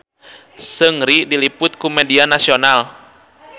Seungri diliput ku media nasional